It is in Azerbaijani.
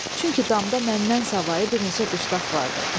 Çünki damda məndən savayı bir neçə dustaq vardı.